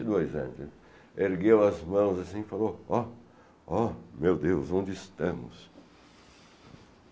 e dois anos, né. Ergueu as mãos assim e falou, ó, ó, meu Deus, onde estamos?